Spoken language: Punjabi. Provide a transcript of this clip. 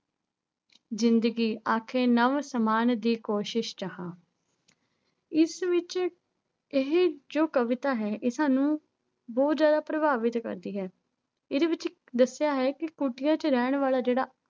ਜ਼ਿੰਦਗੀ ਆਖੇ ਨਵ ਸਮਾਨ ਦੀ ਕੋਸ਼ਿਸ਼ ਚ ਹਾਂ ਇਸ ਵਿੱਚ ਇਹ ਜੋ ਕਵਿਤਾ ਹੈ ਇਹ ਸਾਨੂੰ ਬਹੁਤ ਜ਼ਿਆਦਾ ਪ੍ਰਭਾਵਿਤ ਕਰਦੀ ਹੈ ਇਹਦੇ ਵਿੱਚ ਦੱਸਿਆ ਹੈ ਕਿ ਕੁਟੀਆ ਚ ਰਹਿਣ ਵਾਲਾ ਜਿਹੜਾ